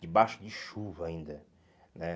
Debaixo de chuva ainda, né?